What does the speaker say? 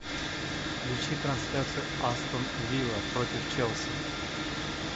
включи трансляцию астон вилла против челси